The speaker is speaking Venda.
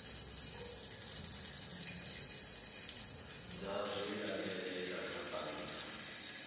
dza zwi lavhelela kha bannga